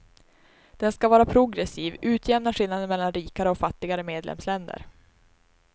Den ska vara progressiv, utjämna skillnaden mellan rikare och fattigare medlemsländer.